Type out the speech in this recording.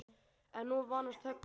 En nú var nánast þögn!